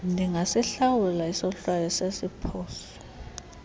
ndingasihlawula isohlwayo sesiphoso